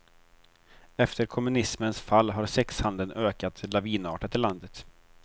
Efter kommunismens fall har sexhandeln ökat lavinartat i landet.